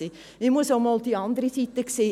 Man muss auch mal die andere Seite sehen.